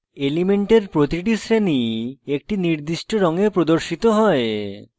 elements প্রতিটি শ্রেণী একটি নির্দিষ্ট রঙে প্রদর্শিত হয়